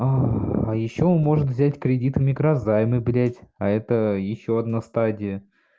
а а ещё может взять кредиты микрозаймы блять а это ещё одна стадия